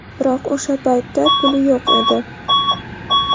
Biroq o‘sha paytda puli yo‘q edi.